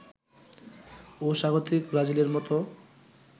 ও স্বাগতিক ব্রাজিলের মতো